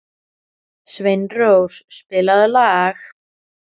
Sveinrós, spilaðu lag.